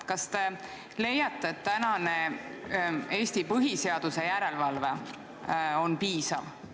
Kas te leiate, et tänane Eesti põhiseaduse järelevalve on piisav?